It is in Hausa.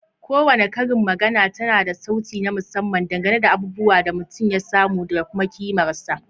Kowace karin magana tana da sauti na musamman dangane da abubuwan da mutum ya samu da kuma kimarsa.